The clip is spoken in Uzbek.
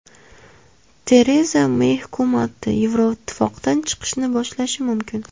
Tereza Mey hukumati Yevroittifoqdan chiqishni boshlashi mumkin.